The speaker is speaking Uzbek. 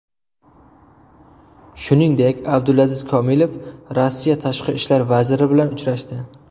Shuningdek, Abdulaziz Komilov Rossiya tashqi ishlar vaziri bilan uchrashdi .